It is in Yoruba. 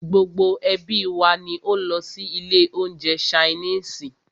Gbogbo ẹ́bí wa ní o lọ sí ilé oúnjẹ ṣainiisi.